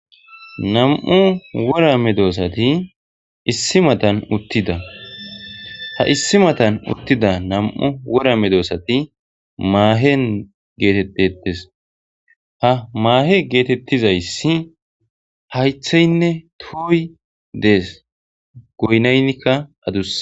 Nam7u wora me doosati issi matan uttida ha issi matan uttida nam7u wora medoossati maahen geetettettes ha maahe geetettizayssi haytheynne tuoy dees goynaynnikka adus.